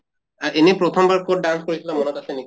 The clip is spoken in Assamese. এনে প্ৰথম বাৰ কʼত dance কৰিছিলা মনত আছে নেকি?